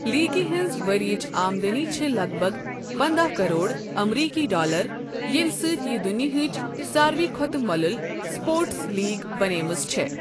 لیٖگہِ ہٕنٛز ؤرۍیِچ آمدٔنی چھےٚ لگ بگ پنٛداہ کرور ایمریكی ڈالر، ییٚمہِ سۭتۍ یہِ دُنیاہٕچ سارِوٕے کھۄتہٕ مو٘لل سپورٹس لیٖگ بنیمژ چھے٘ ۔